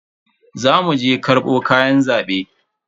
Za mu je karbo kayan zaben.